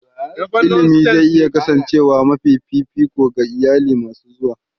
Ilimi zai iya kasancewa mafi fifiko ga iyalai masu zuwa.